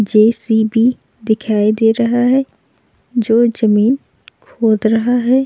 JCB. दिखाई दे रहा है जो जमीन खोद रहा है।